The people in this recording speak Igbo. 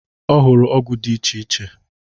Ọ hụrụ ọgwụ dị iche iche.